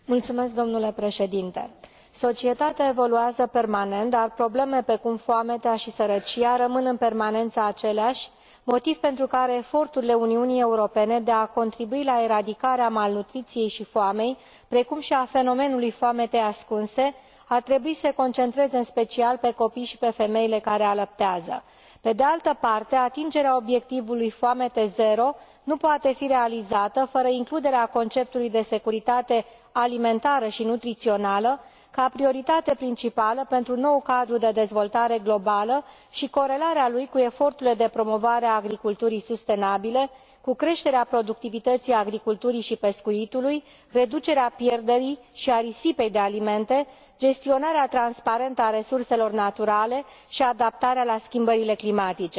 Domnule președinte, societatea evoluează permanent, dar probleme precum foametea și sărăcia rămân în permanență aceleași, motiv pentru care eforturile Uniunii Europene de a contribui la eradicarea malnutriției și a foamei, precum și a fenomenului foametei ascunse, ar trebui să se concentreze în special pe copii și pe femeile care alăptează. Pe de altă parte, atingerea obiectivului foamete zero nu poate fi realizată fără includerea conceptului de securitate alimentară și nutrițională ca prioritate principală pentru noul cadru de dezvoltare globală și corelarea lui cu eforturile de promovare a agriculturii sustenabile, cu creșterea productivității agriculturii și pescuitului, cu reducerea pierderii și a risipei de alimente, cu gestionarea transparentă a resurselor naturale și cu adaptarea la schimbările climatice.